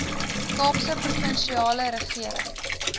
kaapse provinsiale regering